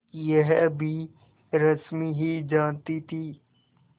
यह भी रश्मि ही जानती थी